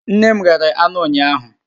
Nne m ghere anụ ụnyaahụ.